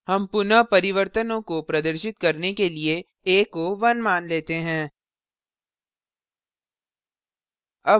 हम पुनः परिवर्तनों को प्रदर्शित करने के लिए a को 1 मान लेते हैं